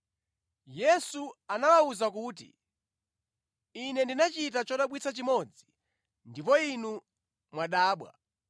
Yesu anawawuza kuti, “Ine ndinachita chodabwitsa chimodzi ndipo inu mwadabwa.